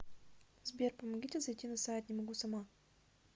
сбер помогите зайти на сайт не могу сама